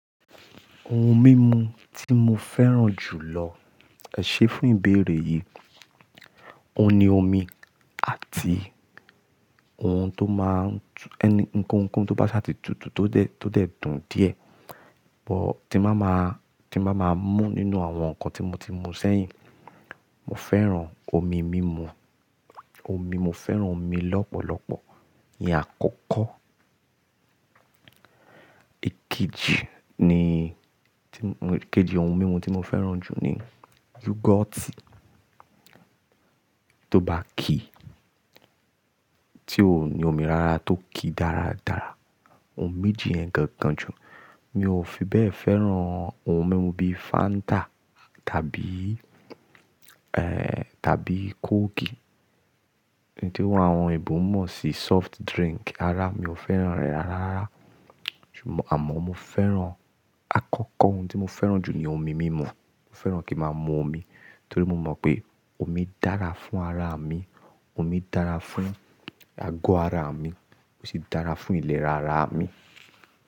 Ohun mímu tí mo fẹ́ràn jù lọ, ẹ̀ṣẹ́ fún ìbéèrè yìí, òun ni omi àti ohun tó máa ń-- ẹni-- ohunkóhun tó bá ṣáàtì tútù tó dẹ̀, tó dẹ̀ dùn díẹ̀. Bọ̀ tí máa máa, tí máa máa mú nínú àwọn nǹkan tí mo ti mú sẹ́yìn, mo fẹ́ràn omi mímu, omi. Mo fẹ́ràn omi lọ́pọ̀lọpọ̀, ni àkọ́kọ́. Èkejì ni, èkejì ohun mímu tí mo fẹ́ràn jù ni Yọ́gọ́ọ̀tì tó bá ki, tí òun ni omi rara tó ki dáradára. Ohun méjì yẹn gangan jù. Mi ò fi bẹ́ẹ̀ fẹ́ràn ohun mímu bíi Fanta tàbí ẹ̀hn, tàbí Coke. Ihun tí àwọn ẹbọ mọ̀ sí soft drink ara, mi ò fẹ́ràn rẹ̀ rárá rárá. Ṣùgbọ́n àmọ́ mo fẹ́ràn-- àkọ́kọ́ ohun tí mo fẹ́ràn jù ni omi mímu. Mo fẹ́ràn kí ma mú omi torí mo mọ̀ pé omi dára fún ara mi, omi dára fún ago ara mi ó sì dára fún ìlera ara mi.